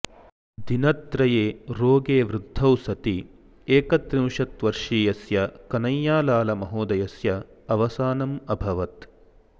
दिनत्रये रोगे वृद्धौ सति एकत्रिंशत्वर्षीयस्य कनैयालाल महोदयस्य अवसानम् अभवत्